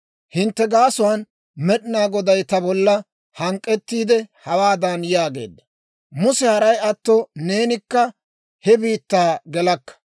«Hintte gaasuwaan Med'inaa Goday ta bollakka hank'k'ettiide, hawaadan yaageedda; Muse, haray atto neenikka he biittaa gelakka.